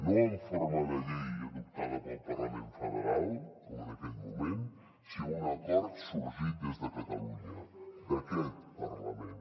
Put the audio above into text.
no en forma de llei adoptada pel parlament federal com en aquell moment sinó un acord sorgit des de catalunya d’aquest parlament